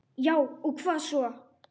Já og hvað svo!